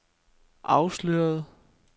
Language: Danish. afsløret